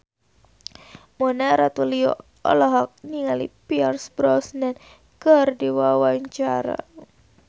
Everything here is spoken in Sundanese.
Mona Ratuliu olohok ningali Pierce Brosnan keur diwawancara